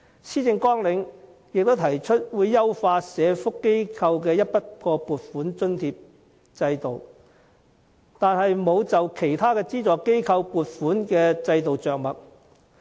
施政綱領提出會優化社福機構的整筆撥款津助制度，但沒有就其他資助機構的撥款制度着墨。